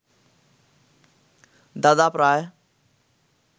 দাদা প্রায়